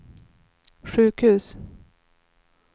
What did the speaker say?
sjukhus